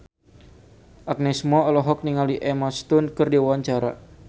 Agnes Mo olohok ningali Emma Stone keur diwawancara